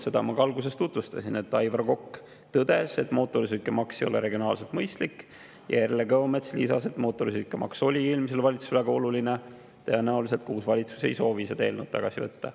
Seda ma ka alguses tutvustasin, et Aivar Kokk tõdes, et mootorsõidukimaks ei ole regionaalselt mõistlik, ja Erle Kõomets lisas, et mootorsõidukimaks oli eelmisele valitsusele väga oluline ning tõenäoliselt uus valitsus ei soovi seda eelnõu tagasi võtta.